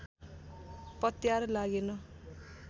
पत्यार लागेन